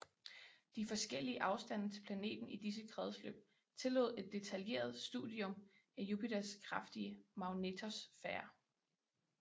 De forskellige afstande til planeten i disse kredsløb tillod et detaljeret studium af Jupiters kraftige magnetosfære